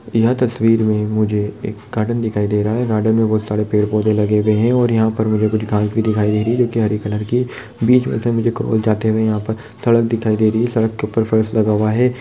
यह तस्वीर मे मुझे एक गार्डन दिखाई दे रहा है गार्डन मे बोहत सारे पेड़ पोधे लगे हुए है और यहाँ पर मुझे घास भी दिखाई दे रही है जोकि हरे कलर की बीच मे से मुझे क्रॉस जाते हुए यहाँ पर सड़क दिखाई दे रही है सड़क के ऊपर फर्श लगा हुआ है ।